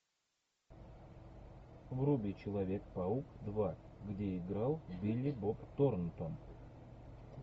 вруби человек паук два где играл билли боб торнтон